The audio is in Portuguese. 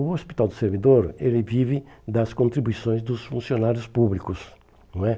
O Hospital do Servidor, ele vive das contribuições dos funcionários públicos, não é?